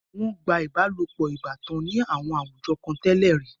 Wọ́n gba ìbálopọ̀ ìbátan ní àwọn àwùjọ kan tẹ́lẹ̀ rí.